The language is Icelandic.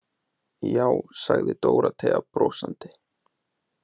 Já, sagði Dórótea brosandi.